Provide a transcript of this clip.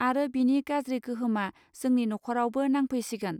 आरो बिनि गाज्रि गोहोमआ जोंनि न'खरावबो नांफैसिगोन